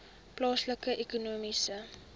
plaaslike ekonomiese